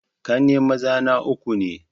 Ƙanne maza na uku ne